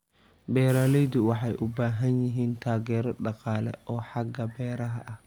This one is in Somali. Beeraleydu waxay u baahan yihiin taageero dhaqaale oo xagga beeraha ah.